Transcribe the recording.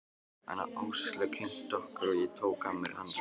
En Áslaug kynnti okkur og ég tók af mér hanskana.